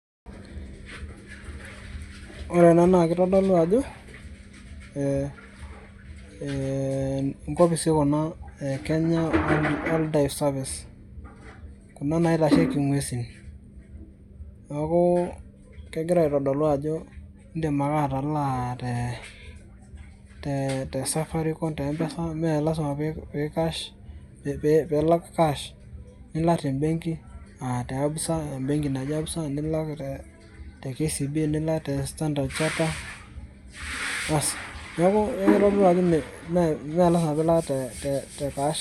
Ore ena na kitodolu ajo eeh ee nkopisi kuna e kenya wildlife service kuna naitasheki ngwesi neaku kegira aitodolu ajo indim ake atalaa te te safari te mpesa melasima ake piilak cash nilak tebenki naji ABSA nilak te KCB nilak te Standard chartered aasi neaku kitodolu ajo me mee lazma nilak te te cash.